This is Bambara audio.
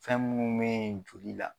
Fɛn munnu me yen joli la